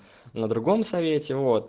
на другом совете вот